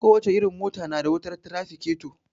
Ko wace irin mota na da wutar tirafiketo